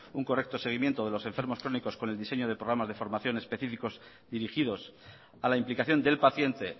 un correcto seguimiento de los enfermos crónicos con el diseño de programas de formación específicos y dirigidos a la implicación del paciente